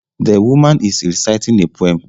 The woaman is reciting a poem